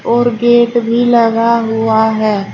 और गेट भी लगा हुआ है।